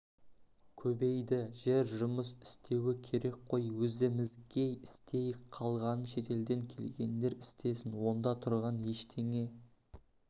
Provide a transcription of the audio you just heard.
көбейді жер жұмыс істеуі керек қой өзіміз істейік қалғанын шетелден келгендер істесін онда тұрған ештеңе